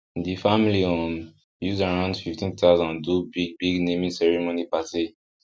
the family um use around 15000 do big big naming ceremony party